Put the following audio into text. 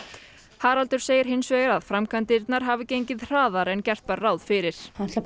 Haraldur segir hins vegar að framkvæmdirnar hafi gengið hraðar en gert var ráð fyrir